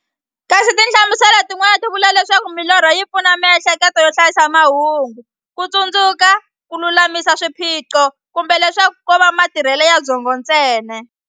Kasi tinhlamuselo ti n'wana ti vula leswaku milorho yi pfuna mi'hleketo ka hlayisa mahungu, kutsundzuka, kululamisa swiphiqo, kumbe leswaku kova matirhele ya byongo ntsena.